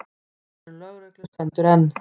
Aðvörun lögreglu stendur enn.